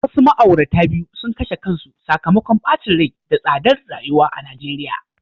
Wasu ma'aurata biyu sun kashe kansu sakamakon bacin rai da tsadar rayuwa a Najeriya.